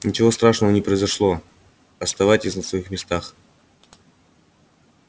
ничего страшного не произошло оставайтесь на своих местах